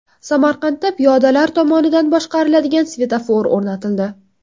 Samarqandda piyodalar tomonidan boshqariladigan svetofor o‘rnatildi.